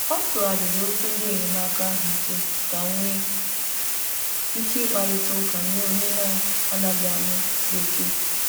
Ọ tụgharịrị okwu ndị enyemaka ahụ ike ka nwee ike ị kparịta ụka nye onye na - anaghị anụ bekee.